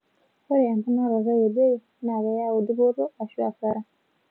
Ore emponaroto e bei naa keyau dupoto aashu asara